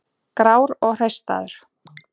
Grár og hreistraður.